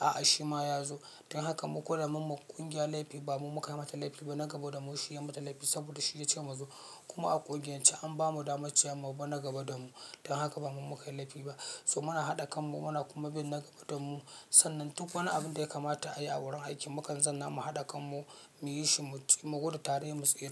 a'a shi ma ya zo. Don haka mu ko da mun ma ƙungiyar laifi ba mu muka mata laifi ba na gaba da mu shi ya mata laifi saboda shi ya ce mu zo. Kuma a ƙungiyan ce an bamu daman cewa mu bi na gaba da mu. Don haka ba mu muka yi laifi ba. Dumin a haɗa kan mu muna kuma bin na gaba da mu. Sannan duk wani abin da ya kamata a yi a wurin aiki mu kan zanna mu haɗa kan mu mu yi shi mu guda tare mu tsira.